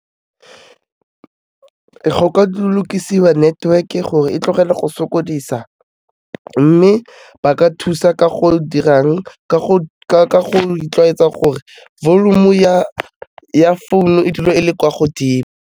Go ka lokisiwa network-e gore e tlogele go sokodisa, mme ba ka thusa ka go dirang ka go itlwaetsa gore volume-u ya founu e dule e le kwa godimo.